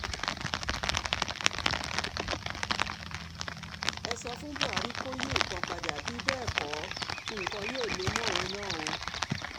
ẹ sọ fún buhari kò yí nǹkan padà bí bẹ́ẹ̀ kó nǹkan yóò lè mọ òun náà o